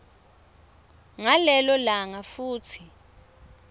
ngalelo langa futsi